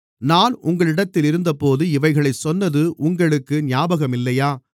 நான் உங்களிடத்திலிருந்தபோது இவைகளைச் சொன்னது உங்களுக்கு ஞாபகமில்லையா